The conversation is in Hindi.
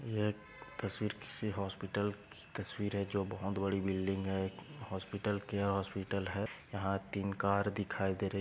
यह तस्वीर किसी हॉस्पिटल तस्वीर है जो बहुत बड़ी बिल्डिंग है हॉस्पिटल केअर हॉस्पिटल है यह तीन कार दिखाई दे रहे--